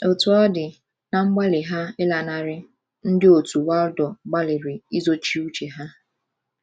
Otú ọ dị, ná mgbalị ha ịlanarị, ndị òtù Waldo gbalịrị izochi uche ha.